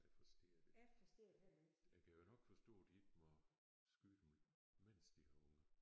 Jeg forstå det ikke. Jeg kan jo nok forstå de ikke må skyde dem mens de har unger